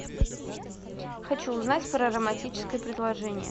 хочу узнать про романтическое предложение